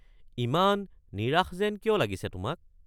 ইমান নিৰাশ যেন কিয় লাগিছে তোমাক?